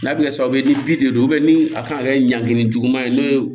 N'a bɛ kɛ sababu ye ni bi de don ni a kan ka kɛ ɲanki juguman ye n'o ye